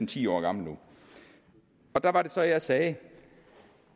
ti år gammelt nu der var det så at jeg sagde